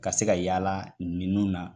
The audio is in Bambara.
Ka se ka yaala ninnu na